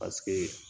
Paseke